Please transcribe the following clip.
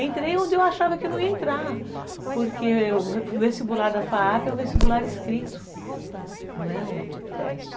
Entrei onde eu achava que eu não ia entrar, porque o vestibular da fa a pe é um vestibular escrito, não é um tipo teste.